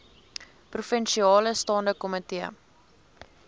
provinsiale staande komitee